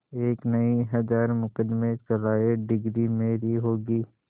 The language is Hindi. एक नहीं हजार मुकदमें चलाएं डिगरी मेरी होगी